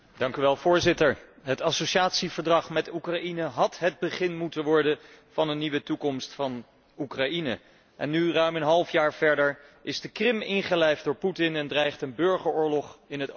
Het associatieverdrag met Oekraïne had het begin moeten worden van een nieuwe toekomst voor Oekraïne en nu, een half jaar verder, is de Krim ingelijfd door Putin en dreigt een burgeroorlog in het oosten van het land.